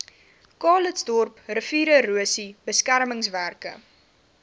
calitzdorp riviererosie beskermingswerke